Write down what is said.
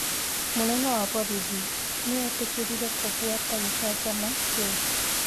Munene wa borithi nĩetĩkĩrire kũbuata gĩcanjama kĩu